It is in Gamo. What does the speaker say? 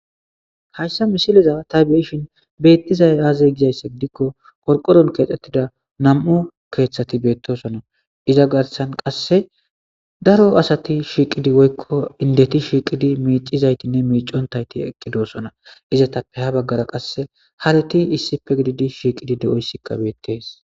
hayssa misiliza ta beishin beettizay aazey gizayssa gidikko qorqoron keexxettida nam7u keeththati beettosona iza garsan qasse daro asati shiiqidi woykko indeti shiiqidi miicizaytinne miicontayti eqqidoosona iza tappe ha baggara qasse hareti issipe gididi shiiqidi de7oyssikka beettees